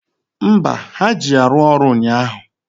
Mba, ha ji ya rụọ ọrụ ụnyaahụ